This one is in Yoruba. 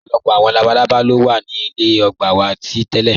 Ọpọlọpọ awọn labàlàbá lo wa ní ilẹ̀ ògbà wa tí tẹ̀lẹ.